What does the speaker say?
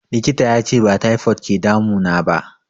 Likita yace ba taifod ke damu naba